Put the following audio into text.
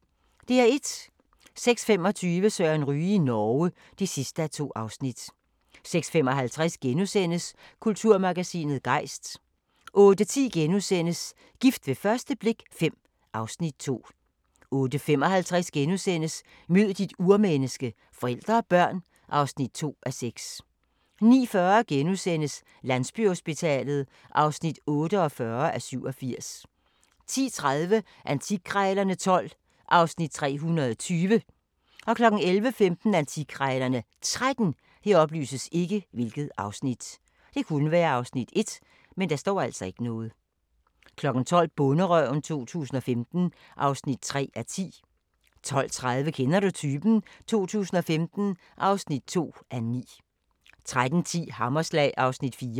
06:25: Søren Ryge i Norge (2:2) 06:55: Kulturmagasinet Gejst * 08:10: Gift ved første blik V (Afs. 2)* 08:55: Mød dit urmenneske – forældre og børn (2:6)* 09:40: Landsbyhospitalet (48:87)* 10:30: Antikkrejlerne XII (Afs. 320) 11:15: Antikkrejlerne XIII 12:00: Bonderøven 2015 (3:10) 12:30: Kender du typen? 2015 (2:9) 13:10: Hammerslag (Afs. 4)